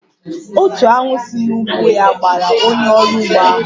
Otu aṅu si n'ugbo ya gbara onye orụ ugbo ahụ